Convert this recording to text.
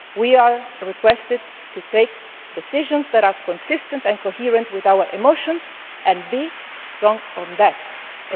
we are asked to take decisions that are consistent and coherent with our emotions, and to be strong in so